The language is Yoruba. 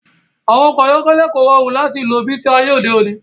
Àwọn ọkọ̀ tẹ́lẹ̀ kò rọrùn láti lò bi ti ayé òde òní